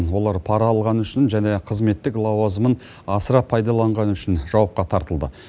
олар пара алғаны және қызметтік лауазымын асыра пайдаланғаны үшін жауапқа тартылды